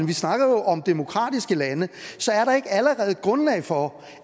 vi snakker jo om demokratiske lande så er der ikke allerede grundlag for